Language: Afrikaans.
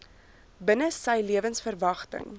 binne sy lewensverwagting